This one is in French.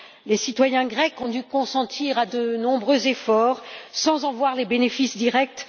Les citoyens grecs ont dû consentir à de nombreux efforts sans en voir les bénéfices directs.